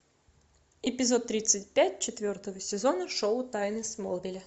эпизод тридцать пять четвертого сезона шоу тайны смолвиля